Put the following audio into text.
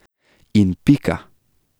In pika.